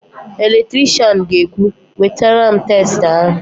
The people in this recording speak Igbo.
Eletrishian ga-ekwu, "wetara m testa ahụ"!